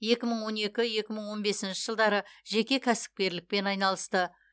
екі мың он екі екі мың он бесінші жылдары жеке кәсіпкерлікпен айналысты